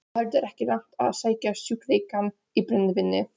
Á heldur ekki langt að sækja sjúkleikann í brennivínið.